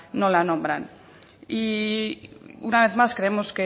no la nombran y una vez más creemos